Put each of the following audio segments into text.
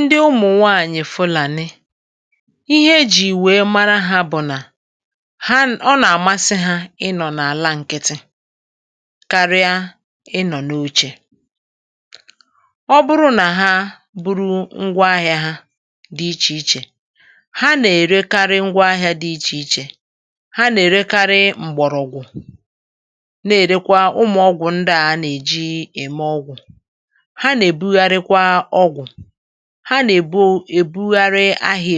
ndị ụmụ̀nwaànyị̀ fụlà ni ihe e jì wèe mara ha bụ̀ nà ha ọ nà-àmasị ha ịnọ̀ n’àla nkịtị karịa ịnọ̀ n’ochè ọ bụrụ nà ha buru ngwa ahị̇ȧ ha dị ichè ichè ha nà-èrekari ngwa ahị̇ȧ dị ichè ichè ha nà-èrekari m̀gbọ̀rọ̀gwụ̀ na-èrekwa ụmụ̀ ọgwụ̀ ndị à a nà-èji ème ọgwụ̀ ha nà-èbugharị ahụ̀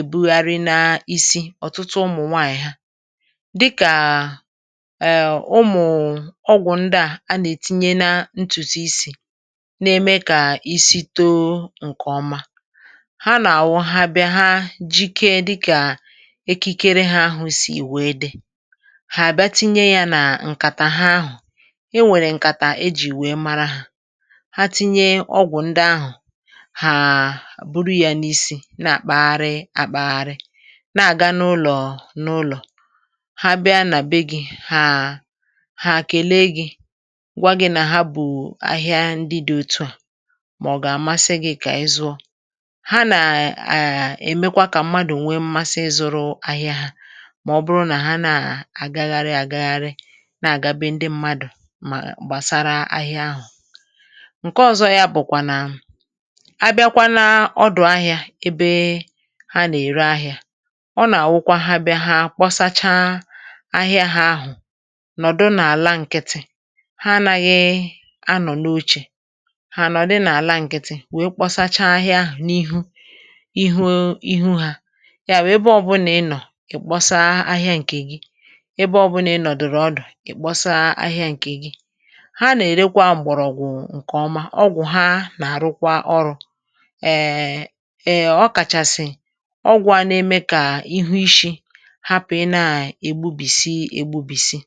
èbugharị n’isi ọ̀tụtụ ụmụ̀ nwaànyị̀ ha dịkà èè ụmụ̀ ọgwụ̀ ndị à a nà-ètinye nȧ ntùtù isì n’eme kà isi̇ too ǹkè ọma ha nà-àwọ ha bịa ha jikė dịkà ekikere ha ahụ̀ sì wèe dị hà-àbịa tinye yȧ nà ǹkàtà ha ahụ̀ e nwèrè ǹkàtà e jì wèe mara ha hàà buru yȧ n’isi na-àkpagharị àkpagharị um na-àga n’ụlọ̀ n’ụlọ̀ ha bịa nà bee gi̇ hàa ha àkèlee gi̇ gwȧ gi nà ha bù ahịa ndị dị̇ otu à mà ọ̀ gà-àmasị gị̇ kà ịzụ̇ ha nà à à à èmekwa kà mmadụ̀ nwẹ mmasị ịzụ̇rụ ahịa hȧ mà ọ bụrụ nà ha na-àgagharị àgagharị na-àgabe ndị mmadụ̀ mà gbàsara ahịa ahụ̀ ǹke ọ̇zọ yȧ bụ̀kwà nà a bịakwa n’ọdụ̀ ahị̇ȧ ebe ha nà-èri ahị̇ȧ ọ nà-àwụkwa ha bịa ha kpọsacha ahịa hȧ nọ̀dụ n’àla ǹkịtị ha naghị anọ̀ n’ochè ha nọ̀ di n’àla ǹkịtị wee kpọsacha ahịa ahụ̀ n’ihu ịhụ̇ ịhụ̇ ha ya wee ebe ọbụnà ị nọ̀ ị̀ kpọsa ahịa ǹkè gi ebe ọbụnà ị nọ̀dụ̀rụ̀ ọdụ̀ ị̀ kpọsa ahịa ǹkè gi ha nà-èrekwa m̀gbọ̀rọ̀gwụ̀ ǹkèọma èè ọ kàchàsị̀ ọgwụ̇ ana-eme kà ihu ishi̇ hapụ̀ na ègbubìsi ègbubìsi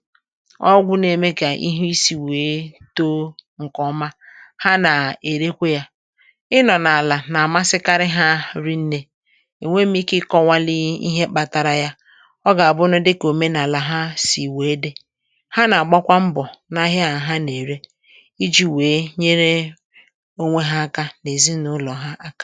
ọgwụ̇ na-eme kà ihu isi̇ wèe too ǹkè ọma ha nà-èrekwa yȧ ịnọ̀ n’àlà nà-àmasịkarị ha rinnė ènwee mmi̇ke ikė ọ̀nwàli ihe kpatara ya ọ gà-àbụ na dịkà òmenàlà ha sì wèe dị ha nà-àgbakwa mbọ̀ n’ahịa àha nà-ère ǹkẹ̀ m.